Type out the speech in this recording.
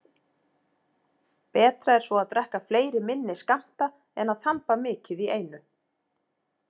Betra er svo að drekka fleiri minni skammta en að þamba mikið í einu.